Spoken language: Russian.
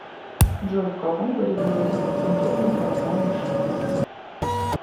джой в каком году была запатентована паровая машина